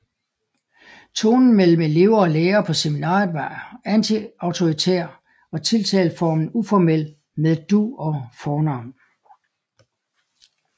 Tonen mellem elever og lærere på seminariet var antiautoritær og tiltaleformen uformel med du og fornavn